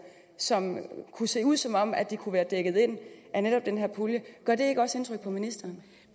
som kunne se ud som om de kunne være dækket ind af netop den her pulje gør det ikke også indtryk på ministeren